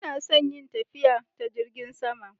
Ina son yin tafiya ta Jingin sama.